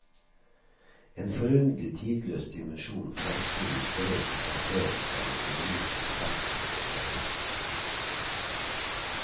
En forunderlig tidløs dimensjon fremsto i strøk og frasering fra en fiolinist i samspill med en pianist.